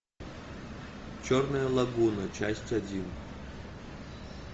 черная лагуна часть один